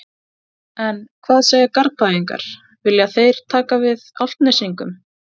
En hvað segja Garðbæingar, vilja þeir taka við Álftnesingum?